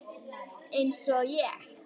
Einsog ein.